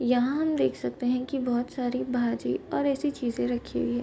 यहाँ हम देख सकते है की बहुत सारी भारी और ऐसी चीजे रखी हुई है --